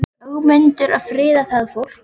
Er Ögmundur að friða það fólk?